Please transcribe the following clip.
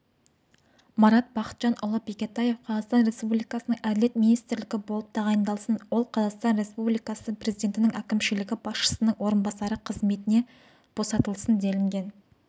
марат бақытжанұлы бекетаев қазақстан республикасының әділет министрі болып тағайындалсын ол қазақстан республикасы президентінің әкімшілігі басшысының орынбасары қызметінен босатылсын делінген